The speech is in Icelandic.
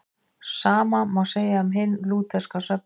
Sama má segja um hinn lútherska söfnuð.